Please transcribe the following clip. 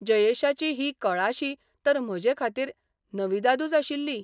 जयेशाची ही कळाशी तर म्हजेखातीर नविदादूच आशिल्ली.